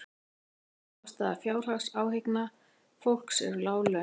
Meginástæða fjárhagsáhyggna fólks eru lág laun